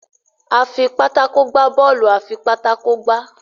a fí pátákó gbà Bọ́ọ̀lù afipátákó gbá